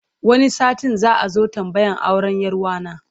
Wani satin za a zo tambayar auren 'yar wa na.